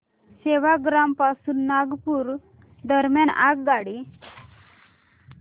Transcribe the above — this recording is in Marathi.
सेवाग्राम पासून नागपूर दरम्यान आगगाडी